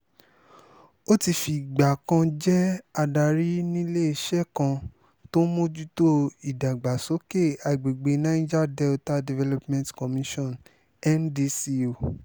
ó ti fìgbà kan jẹ́ adarí níléeṣẹ́ kan tó ń mójútó ìdàgbàsókè àgbègbè niger delta development commission ndco